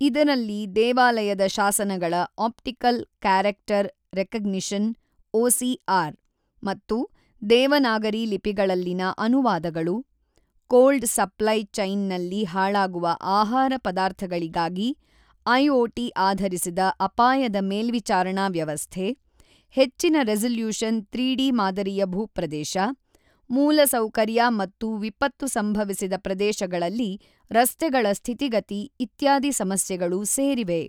ಇದರಲ್ಲಿ ದೇವಾಲಯದ ಶಾಸನಗಳ ಆಪ್ಟಿಕಲ್ ಕ್ಯಾರೆಕ್ಟರ್ ರೆಕಗ್ನಿಷನ್ ಒಸಿಆರ್ ಮತ್ತು ದೇವನಾಗರಿ ಲಿಪಿಗಳಲ್ಲಿನ ಅನುವಾದಗಳು, ಕೋಲ್ಡ್ ಸಪ್ಲೈ ಚೈನ್ನಲ್ಲಿ ಹಾಳಾಗುವ ಆಹಾರ ಪದಾರ್ಥಗಳಿಗಾಗಿ ಐಒಟಿ ಆಧರಿಸಿದ ಅಪಾಯದ ಮೇಲ್ವಿಚಾರಣಾ ವ್ಯವಸ್ಥೆ, ಹೆಚ್ಚಿನ ರೆಸಲ್ಯೂಶನ್ 3ಡಿ ಮಾದರಿಯ ಭೂಪ್ರದೇಶ, ಮೂಲಸೌಕರ್ಯ ಮತ್ತು ವಿಪತ್ತು ಸಂಭವಿಸಿದ ಪ್ರದೇಶಗಳಲ್ಲಿ ರಸ್ತೆಗಳ ಸ್ಥಿತಿಗತಿ ಇತ್ಯಾದಿ ಸಮಸ್ಯೆಗಳು ಸೇರಿವೆ.